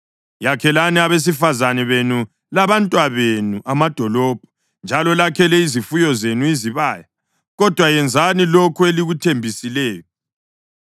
Yakhelani abesifazane benu labantwabenu amadolobho, njalo lakhele izifuyo zenu izibaya, kodwa yenzani lokho elikuthembisileyo.”